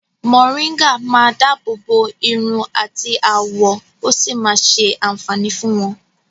̀Mòrígà máa dábòbò iru àti àwọ̀ ó sì máa ṣé àǹfàní fún wọ́n.